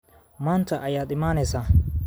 Maanta ayaad imanaysaa.